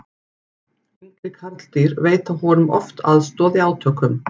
yngri karldýr veita honum oft aðstoð í átökum